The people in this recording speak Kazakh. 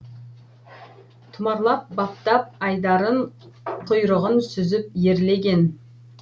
тұмарлап баптап айдарын құйрығын сүзіп ерлеген